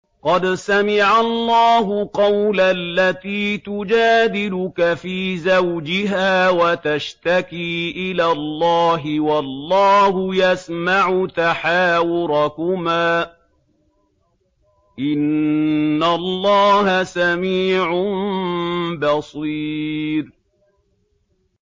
قَدْ سَمِعَ اللَّهُ قَوْلَ الَّتِي تُجَادِلُكَ فِي زَوْجِهَا وَتَشْتَكِي إِلَى اللَّهِ وَاللَّهُ يَسْمَعُ تَحَاوُرَكُمَا ۚ إِنَّ اللَّهَ سَمِيعٌ بَصِيرٌ